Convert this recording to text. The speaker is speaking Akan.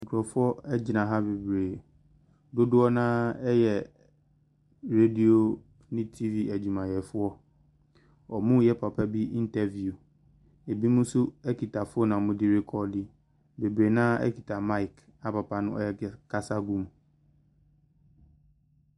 Nkurɔfoɔ gyina ha bebree, dodoɔ no ara yɛ radio ne TV adwumayɛfoɔ, wɔreyɛ papa bi interview, binom nso kita phone a wɔde rekɔɔdo. Bebree no ara kita mic a papa no ɛrek kasa gu mu.